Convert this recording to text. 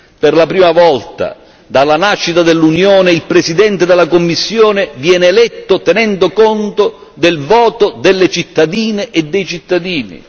Per la prima volta dalla nascita dell'Unione il Presidente della Commissione viene eletto tenendo conto del voto delle cittadine e dei cittadini.